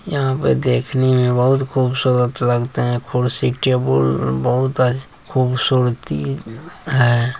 यहाँ पे देखने में बहुत खूबसूरत लगता है कुर्सी टेबुल बहुत अच्छ खूबसूरती है।